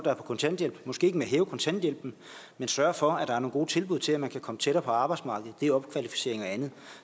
er på kontanthjælp måske ikke med at hæve kontanthjælpen men sørge for at der er nogle gode tilbud til at man kan komme tættere på arbejdsmarkedet via opkvalificering og andet